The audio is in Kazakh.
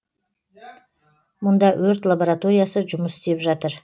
мұнда өрт лабораториясы жұмыс істеп жатыр